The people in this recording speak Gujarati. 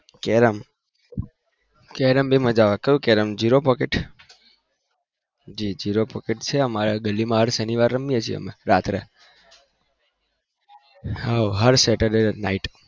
carrom પણ મજા આવે કઈ carrom zero pocket જી zero pocket અમારા ગલી building માં રમીએ હર શનિ વારે રમીએ છીએ રાત્રે